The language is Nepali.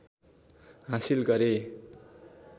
हासिल गरे